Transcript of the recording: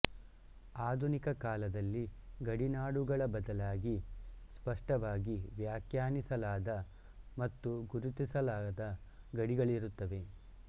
ಆಧುನಿಕ ಕಾಲದಲ್ಲಿ ಗಡಿನಾಡುಗಳ ಬದಲಾಗಿ ಸ್ಪಷ್ಟವಾಗಿ ವ್ಯಾಖ್ಯಾನಿಸಲಾದ ಮತ್ತು ಗುರುತಿಸಲಾದ ಗಡಿಗಳಿರುತ್ತವೆ